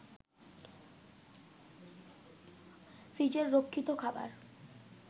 ফ্রিজে রক্ষিত খাবার